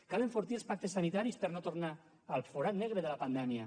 cal enfortir els pactes sanitaris per a no tornar al forat negre de la pandèmia